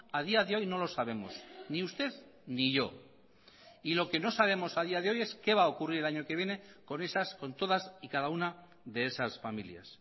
a día de hoy no lo sabemos ni usted ni yo y lo que no sabemos a día de hoy es qué va a ocurrir el año que viene con esas con todas y cada una de esas familias